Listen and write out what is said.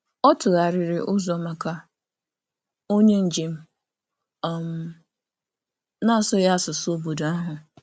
Ọ tụgharịrị ntụzịaka nye onye njem na-asụghị asụsụ obodo ahụ.